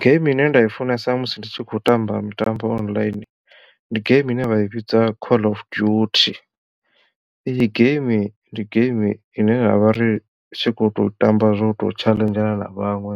Geimi ine nda i funesa musi ndi tshi khou tamba mitambo online ndi geimi ine vha i vhidza call of duty iyi game ndi game ine ra vha ri tshi khou tou tamba zwo to tshaḽenzhana na vhaṅwe